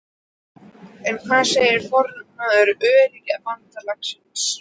En hvað segir formaður Öryrkjabandalagsins?